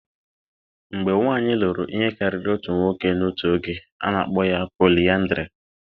Mgbe nwanyị lụrụ ihe karịrị otu nwoke n'otu oge, a na-akpọ ya polịyandrị